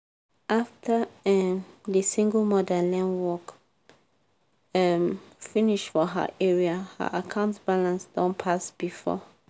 after um di single mother learn work um finish for her area her account balance don pass before.